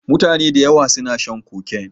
Mutane dayawa suna shan coke